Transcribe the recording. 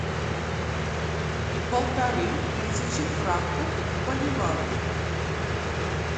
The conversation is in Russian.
полторы тысячи франков в боливарах